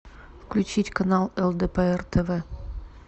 включить канал лдпр тв